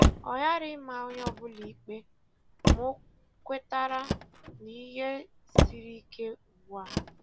O ghara ịma onye ọ bụla ikpe, ma ọ kwetara na ihe siri ike ugbu a